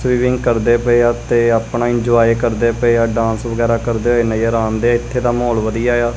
Swimming ਕਰਦੇ ਪਏ ਆ ਤੇ ਆਪਣਾ ਇੰਜੋਯ ਕਰਦੇ ਪਏ ਆ ਡਾਂਸ ਵਗੈਰਾ ਕਰਦੇ ਹੋਏ ਨਜ਼ਰ ਆਂਦੇ ਇੱਥੇ ਦਾ ਮਾਹੌਲ ਵਧੀਆ ਏ ਆ।